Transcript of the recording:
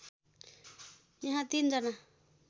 यहाँ ३ जना